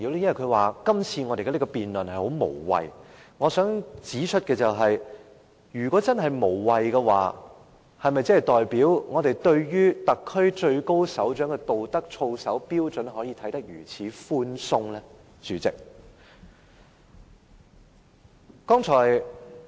因為他說我們今次的辯論十分無謂，代理主席，我想指出，如果真的無謂，是否代表我們對於特區最高首長的道德操守標準，可以如此寬鬆地看待？